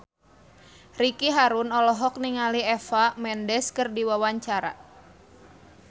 Ricky Harun olohok ningali Eva Mendes keur diwawancara